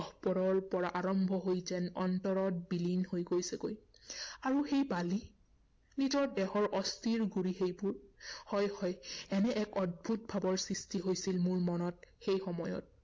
গভীৰৰ পৰা আৰম্ভ হৈ যেন অন্তৰত বিলীন হৈ গৈছেগৈ। আৰু সেই বালি? নিজৰ দেহৰ অস্থিৰ গুড়ি সেইবোৰ! হয় হয় এনে এক অদ্ভূত ভাৱৰ সৃষ্টি হৈছিল, মোৰ মনত সেই সময়ত।